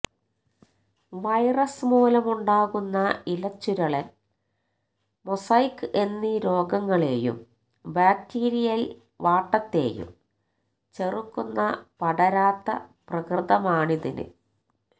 virus മൂലമുണ്ടാകുന്ന ഇലച്ചുരുളന് mosaic എന്നീ രോഗങ്ങളെയും ബാക്ടീരിയല് വാട്ടത്തെയും ചെറുക്കുന്ന പടരാത്ത പ്രകൃതമാണിതിന്